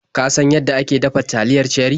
Ka san yanda ake dafa taliyar Cherie?